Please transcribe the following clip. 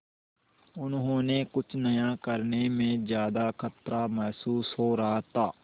उन्हें कुछ नया करने में ज्यादा खतरा महसूस हो रहा था